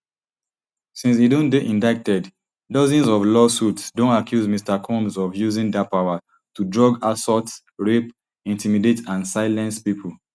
since e don dey indicted dozens of lawsuits don accuse mr combs of using dat power to drug assault rape intimidate and silence pipo